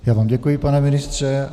Já vám děkuji, pane ministře.